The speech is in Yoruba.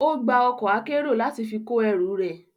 Ó gba ọkọ̀ akérò láti fi kó ẹrù ẹ.